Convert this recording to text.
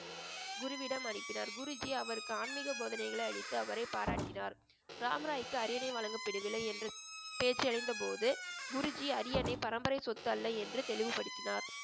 குருவிடம் அனுப்பினார் குருஜி அவருக்கு ஆன்மீக போதனைகளை அளித்து அவரை பாராட்டினார் ராம்ராய்க்கு அரியணை வழங்கப்படவில்லை என்று பேச்சு அடைந்தபோது குருஜி அரியணை பரம்பரை சொத்து அல்ல என்று தெளிவுபடுத்தினார்